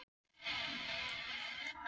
Það slaknaði á Sveini undan þessu augnaráði.